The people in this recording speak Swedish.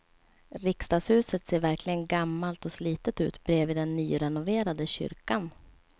Riksdagshuset ser verkligen gammalt och slitet ut bredvid den nyrenoverade kyrkan.